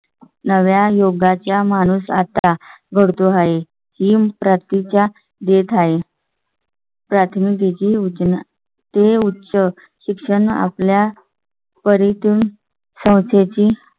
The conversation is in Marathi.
नव्या युगाचा माणूस आता घडतो आहे. हिम प्रती च्या देत आहे. प्राथमिक जी उंच ना ते उच्च शिक्षण आपल्या परि तून साहित्याची